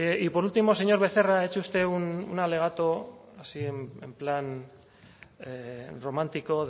y por último señor becerra ha hecho usted un alegato así en plan romántico